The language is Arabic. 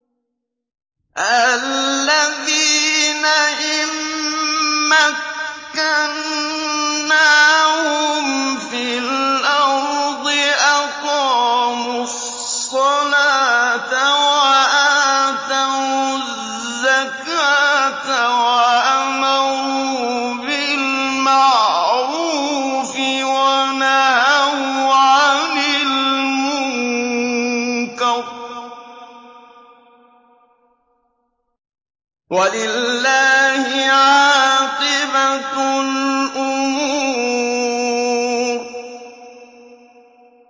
الَّذِينَ إِن مَّكَّنَّاهُمْ فِي الْأَرْضِ أَقَامُوا الصَّلَاةَ وَآتَوُا الزَّكَاةَ وَأَمَرُوا بِالْمَعْرُوفِ وَنَهَوْا عَنِ الْمُنكَرِ ۗ وَلِلَّهِ عَاقِبَةُ الْأُمُورِ